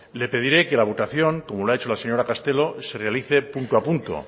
le pediré que la votación como lo ha hecho la señora castelo se realice punto a punto